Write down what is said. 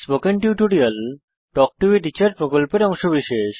spoken tutorial talk to a teacher প্রকল্পের অংশবিশেষ